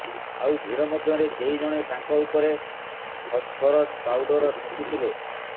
ଆଉ ଭିଡ଼ ମଧ୍ୟରେ କେହି ଜଣେ ତାଙ୍କ ଉପରେ ଫସ୍ଫରସ୍ ପାଉଡର ଛିଞ୍ଚିଥିଲେ